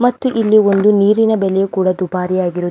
ಮತ್ತು ಇಲ್ಲಿ ಒಂದು ನೀರಿನ ಬೆಲೆಯೂ ಕೂಡ ದುಬಾರಿಯಾಗಿರು --